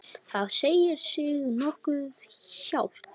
Það segir sig nokkuð sjálft.